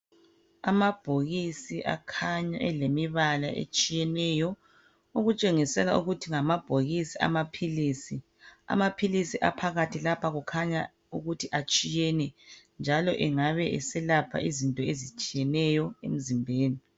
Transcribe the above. Amabhokisi akhanya elemibala etshiyeneyo okutshengisela ukuthi ngamabhokisi amaphilisi. Amaphilisi aphakathi lapha kukhanya ukuthi atshiyene njalo engabe eselalapha izinto ezitshiyeneyo emzimbeni.